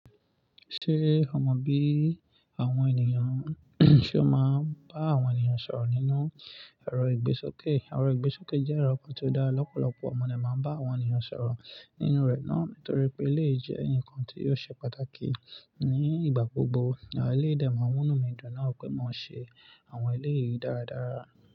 Ṣé o mọ bí àwọn ènìyàn ṣe ó máa ń bá àwọn ènìyàn sọ̀rọ̀ nínú ẹ̀rọ ìgbésókè? Ẹ̀rọ ìgbésókè jẹ́ ẹ̀rọ kan tí ó dá lọ́pọ̀lọpọ̀ ohun ni a maa ń bá àwọn ènìyàn sọ̀rọ̀ nínú rẹ̀ náà. Nítorí pé ẹlẹyi jẹ́ nǹkan tí ò ṣe pàtàkì ní ìgbà gbogbo. Àwọn ẹlẹyi de ma munu mi dùn náà pé mo ṣe àwọn ilé yìí dáradára.